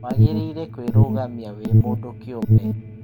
wagĩrĩire kũĩrugamia wĩ mũndũ kĩũmbe.